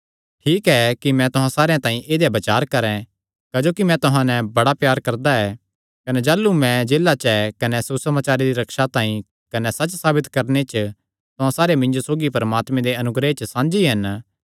ठीक ऐ कि मैं तुहां सारेयां तांई ऐदेया ई बचार करैं क्जोकि मैं तुहां नैं बड़ा प्यार करदा ऐ कने जाह़लू मैं जेला च ऐ कने सुसमाचारे दी रक्षा तांई कने सच्च साबित करणे च तुहां सारे मिन्जो सौगी परमात्मे दे अनुग्रह च साझी हन